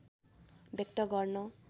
व्यक्त गर्न